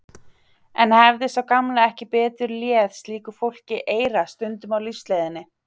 En hefði sá gamli ekki betur léð slíku fólki eyra stundum á lífsleiðinni?